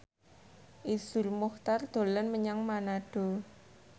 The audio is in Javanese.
Iszur Muchtar dolan menyang Manado